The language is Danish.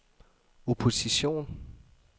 opposition